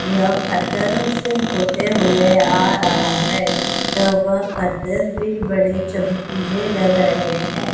यह फत्थरों से होते हुए आ रहा है तब पत्थर भी बड़े चमकीले लग रहे हैं।